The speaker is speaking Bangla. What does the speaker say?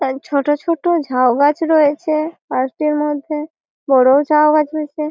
এ ছোটো ছোটো ঝাউ গাছ রয়েছে পার্ক টির মধ্যে বড়ও ঝাউ গাছ রয়েছে।